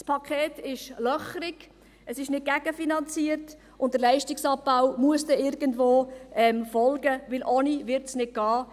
Das Paket ist löchrig, es ist nicht gegenfinanziert, und der Leistungsabbau muss dann irgendwo folgen, denn ohne wird es nicht gehen.